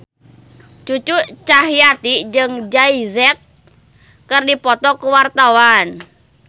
Cucu Cahyati jeung Jay Z keur dipoto ku wartawan